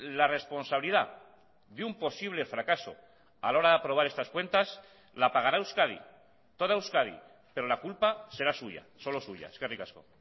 la responsabilidad de un posible fracaso a la hora de aprobar estas cuentas la pagará euskadi toda euskadi pero la culpa será suya solo suya eskerrik asko